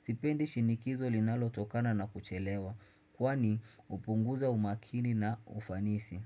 Sipendi shinikizo linalotokana na kuchelewa. Kwani hupunguza umakini na ufanisi.